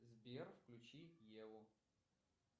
сбер включи еву